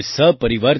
તેમને અભિનંદન આપો